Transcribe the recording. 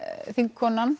þingkonan